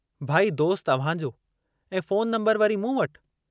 भाई दोस्त अव्हांजो ऐं फोन नम्बरु वरी मूं वटि।